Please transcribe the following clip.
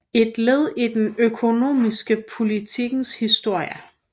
Ett led i den ekonomiska politikens historia